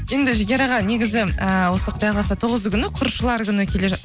енді жігер аға негізі ііі осы құдай қаласа тоғызы күні күні келе